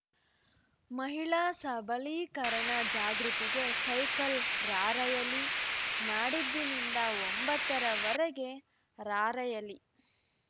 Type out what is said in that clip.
ಮಹಿಳಾ ಸಬಲೀಕರಣ ಜಾಗೃತಿಗೆ ಸೈಕಲ್‌ ರಾರ‍ಯಲಿ ನಾಡಿದ್ದಿನಿಂದ ಒಂಬತ್ತರವರೆಗೆ ರಾರ‍ಯಲಿ